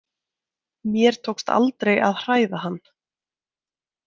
Mér tókst aldrei að hræða hann.